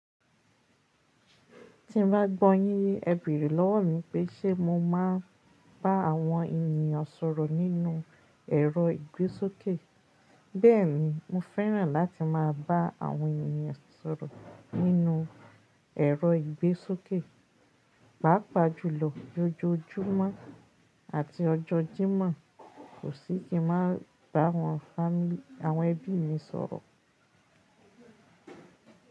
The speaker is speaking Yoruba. Tí mo bá gbọ́ yín ye, ẹ béèrè lọ́wọ́ mi pé ṣe mo máa ń bá àwọn ènìyàn sọ̀rọ̀ nínú ẹ̀rọ ìgbésókè. Bẹ́ẹ̀ni, mo fẹ́ràn láti máa bá àwọn ènìyàn sọ̀rọ̀ nínú ẹ̀rọ ìgbésókè. Pápa jùlọ, ojoojúmọ́ àti ọjọ́ Jímọ̀, kò sì kí n máa bá àwọn ẹbí mi sọ̀rọ̀.